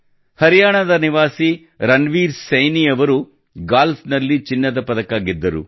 ಹರಿಯಾಣದ ನಿವಾಸಿ ರಣವೀರ್ ಸೈನಿ ಅವರು ಗಾಲ್ಫ್ ನಲ್ಲಿ ಚಿನ್ನದ ಪದಕ ಗೆದ್ದರು